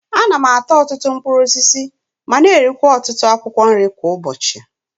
Ana m ata ọtụtụ mkpụrụ osisi ma na-erikwa ọtụtụ akwụkwọ nri kwa ụbọchi.